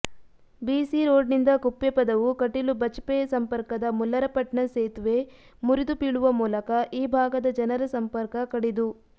ಬಿಸಿರೋಡಿನಿಂದ ಕುಪ್ಪೆಪದವು ಕಟೀಲು ಬಜಪೆ ಸಂಪರ್ಕದ ಮುಲ್ಲರಪಟ್ನ ಸೇತುವೆ ಮುರಿದು ಬೀಳುವ ಮೂಲಕ ಈ ಭಾಗದ ಜನರ ಸಂಪರ್ಕ ಕಡಿದು